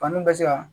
Faniw bɛ se ka